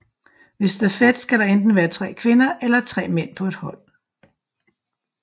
Ved stafet skal der enten være tre kvinder eller tre mænd på et hold